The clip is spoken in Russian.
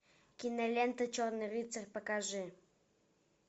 кинолента черный рыцарь покажи